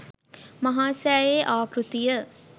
මහා සෑයේ ආකෘතිය